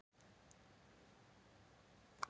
Breki: Og spenntur að koma og skoða salinn?